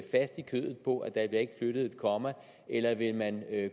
kødet på at der ikke flyttet et komma eller vil man